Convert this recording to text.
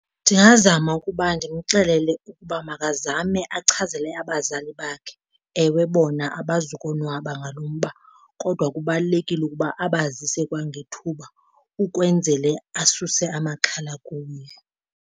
Ndingazama ukuba ndimxelele ukuba makazame achazele abazali bakhe. Ewe bona abazukonwaba ngalo mba kodwa kubalulekile ukuba abazise kwangethuba ukwenzele asuse amaxhala kuye.